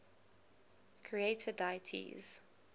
creator deities